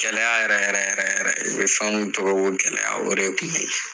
Gɛlɛya yɛrɛ yɛrɛ de beye u be fɛn min tɔgɔ ko gɛlɛya o de kun be ye